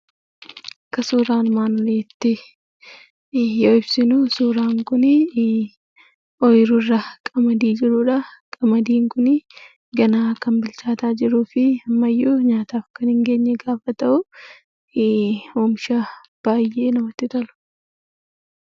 Akka suuraan ibsutti yoo ibsinu ooyiruurra qamadii jirudha. Qamadiin kun ganaa kan bilchaataa jiruu fi ammayyuu kan hin geenye gaafa ta'u, oomisha baay'ee namatti toludha.